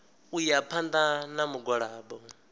u ya phanḓa na mugwalabo